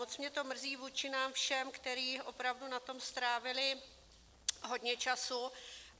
Moc mě to mrzí vůči nám všem, kteří opravdu na tom strávili hodně času.